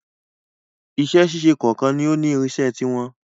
Iṣẹ́ ṣíṣe kọ̀ọ̀kan ni ó ní irinṣẹ́ ti wọn.